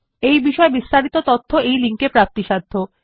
এই বিষয় বিস্তারিত তথ্য এই লিঙ্ক এ প্রাপ্তিসাধ্য